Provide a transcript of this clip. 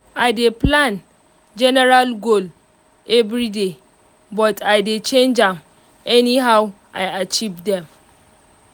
i dey plan general goal everyday but i dey change am anyhow i achieve dem